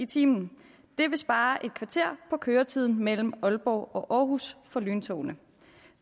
time det vil spare et kvarter på køretiden mellem aalborg og aarhus for lyntogene